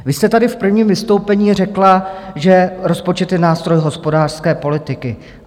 Vy jste tady v prvním vystoupení řekla, že rozpočet je nástroj hospodářské politiky.